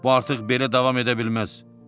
Bu artıq belə davam edə bilməz.